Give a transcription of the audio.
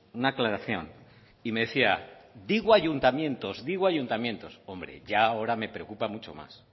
una aclaración y me decía digo ayuntamientos digo ayuntamientos hombre ya ahora me preocupa mucho más